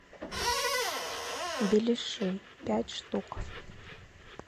беляши пять штук